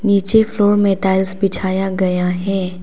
नीचे फ्लोर में टाइल्स बिछाया गया है।